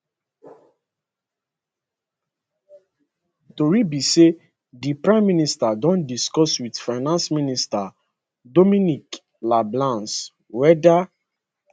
tori be say di prime minister don discuss wit finance minister dominic leblanc weda